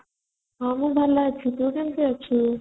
ହଁ ମୁଁ ଭଲ ଅଛି ତୁ କେମିତି ଅଛୁ ?